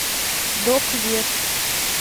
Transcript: док вест